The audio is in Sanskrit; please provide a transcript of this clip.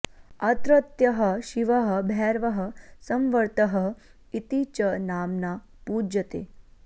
अत्रत्यः शिवः भैरवः संवर्तः इति च नाम्ना पूज्यते